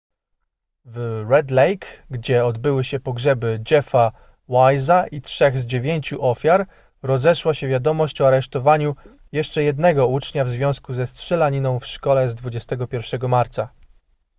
w red lake gdzie obyły się pogrzeby jeffa wise'a i trzech z dziewięciu ofiar rozeszła się wiadomość o aresztowaniu jeszcze jednego ucznia w związku ze strzelaniną w szkole z 21 marca